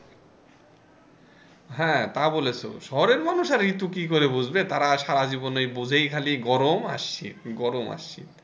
হ্যাঁ তা বলেছো শহরের মানুষ আর ঋতু কি করে বুঝবে তারা সারা ওই জীবনে বুঝে খালি এই গরম আর শীত খালি গরম আর শীত।